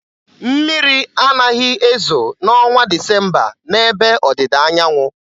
Mmiri anaghị ezo n'ọnwa Disemba n'ebe Ọdịdaanyaanwụ.